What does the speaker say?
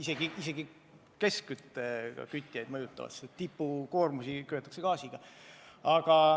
See mõjutab isegi keskküttesüsteemide haldajaid, sest tippkoormuste ajal kasutatakse gaasi.